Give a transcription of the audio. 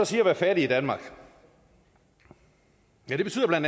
sige at være fattig i danmark det betyder bla